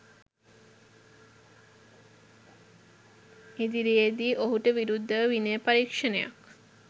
ඉදිරියේදී ඔහුට විරුද්ධව විනය පරීක්ෂණයක්